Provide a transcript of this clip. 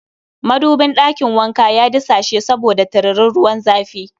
Madubin ɗakin wanka ya disashe saboda tiririn ruwan zafi